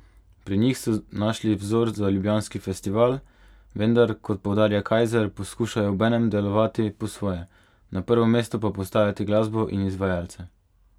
Pri njih so našli vzor za ljubljanski festival, vendar, kot poudarja Kajzer, poskušajo obenem delovati po svoje, na prvo mesto pa postavljati glasbo in izvajalce.